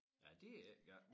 Ja det ikke galt